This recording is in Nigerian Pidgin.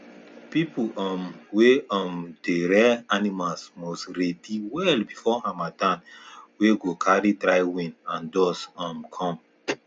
people um wey um dey rear animal must ready well before harmattan wey go carry dry wind and dust um come